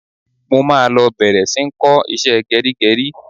Mo máa lọ bẹ̀rẹ̀ sí ń kọ́ iṣẹ́ gẹrígẹrí.